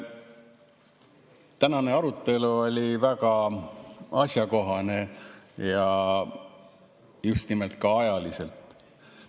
Tänane arutelu oli väga asjakohane ja just nimelt ka ajaliselt.